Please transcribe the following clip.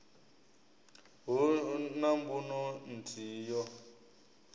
hu na mbuno nthihi yo